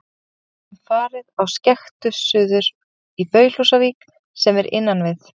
Við höfðum farið á skektu suður í Baulhúsavík, sem er innan við